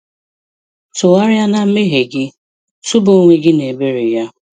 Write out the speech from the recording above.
Tụgharịa na mmehie gị, tụba onwe gị na ebere Ya.